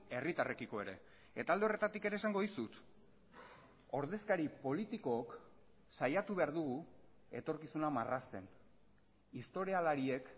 herritarrekiko ere eta alde horretatik ere esango dizut ordezkari politikook saiatu behar dugu etorkizuna marrazten historialariek